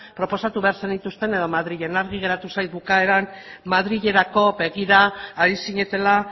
proposatu behar zenituzten edo madrilen argi geratu zait bukaeran madrilerako begira ari zinetela